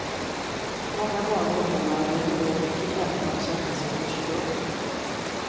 Många barn och ungdomar lägger ner mycket kraft på att söka sitt ursprung.